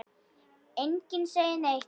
Enginn segir neitt.